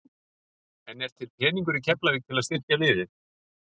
En er til peningur í Keflavík til að styrkja liðið?